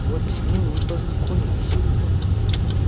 вот с ними вы познакомились